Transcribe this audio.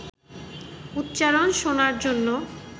উচ্চারণ শোনার জন্য